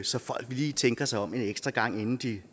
så folk lige tænker sig om en ekstra gang inden de